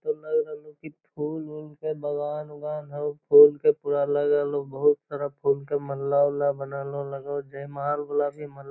फूल लग रहलो की फुल-उल के बगान-उगान हौ फुल के पुरा लगल हो बहुत सारा फुल के मल्ला-उल्ला बनल हो लगो हौ जे महल वला भी मल --